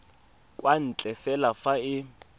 kwa ntle fela fa e